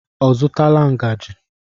Ọ zụtala ngaji?